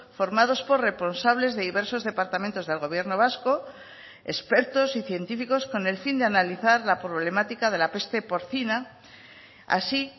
formados por responsables de diversos departamentos del gobierno vasco expertos y científicos con el fin de analizar la problemática de la peste porcina así